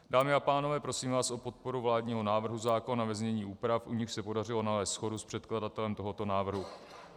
Dámy a pánové, prosím vás o podporu vládního návrhu zákona ve znění úprav, u nichž se podařilo nalézt shodu s předkladatelem tohoto návrhu.